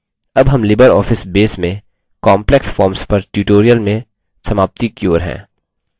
अब हम LibreOffice Base में काम्प्लेक्स फॉर्म्स पर ट्यूटोरियल में समाप्ति की ओर हैं